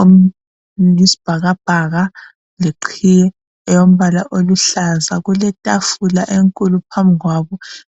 oyisibhakabhaka leqhiye eyembala oluhlaza kuletafula enkulu phambi kwabo.